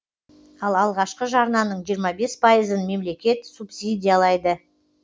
ал алғашқы жарнаның жиырма бес пайызын мемлекет субсидиялайды